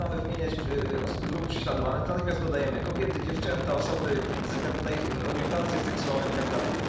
Jak zaczynamy wymieniać grupy prześladowane, to natychmiast dodajemy kobiety, dziewczęta, osoby ze względu na ich orientację seksualną i tak dalej.